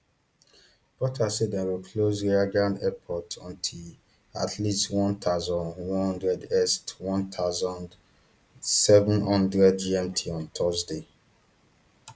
potter say dem go close reagan airport until at least one thousand, one hundred est one thousand, seven hundred gmt on thursday